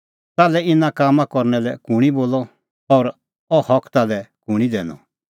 ताल्है इना कामां करना लै कुंणी बोलअ और अह हक ताल्है कुंणी दैनअ